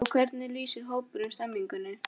Og hvernig lýsir hópurinn stemningunni?